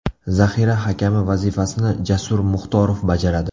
Zaxira hakami vazifasini Jasur Muxtorov bajaradi.